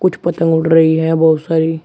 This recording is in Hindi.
कुछ पतंग उड़ रही हैं बहुत सारी--